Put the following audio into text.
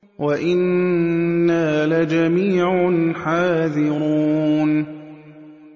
وَإِنَّا لَجَمِيعٌ حَاذِرُونَ